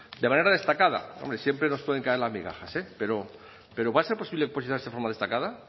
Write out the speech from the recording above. de manera destacada hombre siempre nos pueden caer las migajas eh pero va a ser posible posicionarse de forma destacada